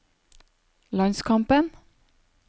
landskampen